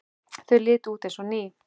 Þau litu út eins og ný.